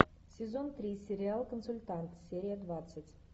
сезон три сериал консультант серия двадцать